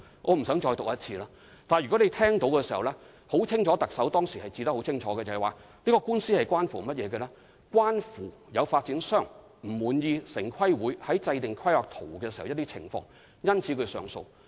我不想再讀一次特首有關灣仔警署的說法，特首當時清楚指出，這宗官司關乎有發展商不滿意城市規劃委員會在制訂大綱圖時的一些情況，因此提出上訴。